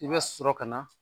I bɛ sɔrɔ ka na